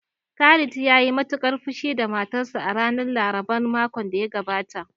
Khalid ya yi matuƙar fushi da matarsa a ranar laraban makon da ya gabata